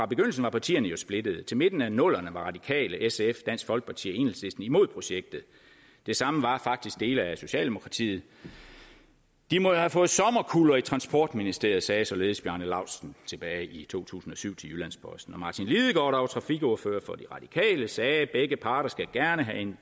begyndelsen var partierne jo splittede indtil midten af nullerne var de radikale sf dansk folkeparti og enhedslisten imod projektet det samme var faktisk dele af socialdemokratiet de må jo have fået sommerkuller i transportministeriet sagde således bjarne laustsen tilbage i to tusind og syv til jyllands posten og martin lidegaard der var trafikordfører for de radikale sagde at begge parter gerne